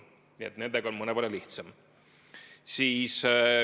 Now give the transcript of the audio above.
Nii et nendega on mõnevõrra lihtsam.